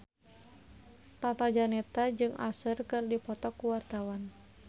Tata Janeta jeung Usher keur dipoto ku wartawan